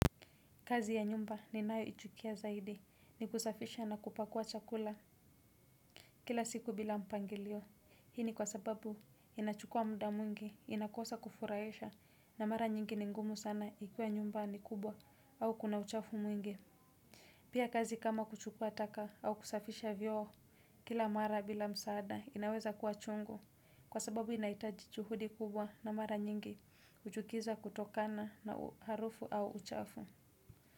Kazi ya nyumba ni nayo ichukia zaidi ni kusafisha na kupakua chakula. Kila siku bila mpangilio hii ni kwa sababu inachukua muda mwingi inakosa kufurahisha na mara nyingi ni ngumu sana ikiwa nyumba ni kubwa au kuna uchafu mwingi. Pia kazi kama kuchukua taka au kusafisha vioo kila mara bila msaada inaweza kuwa chungu kwa sababu inahitaji juhudi kubwa na mara nyingi uchukiza kutokana na harufu au uchafu.